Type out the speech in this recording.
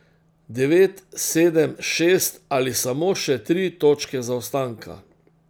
Devet, sedem, šest ali samo še tri točke zaostanka?